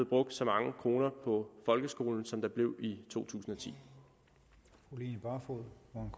brugt så mange kroner på folkeskolen som der blev i totusinde og